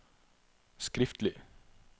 skriftlig